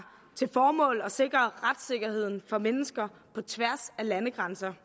til formål at sikre retssikkerheden for mennesker på tværs af landegrænser